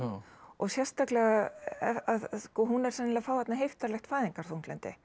sérstaklega að hún er sennilega að fá þarna heiftarlegt fæðingarþunglyndi